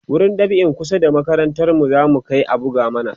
wurin dab'in kusa da makarantar mu zamu Kai a buga mana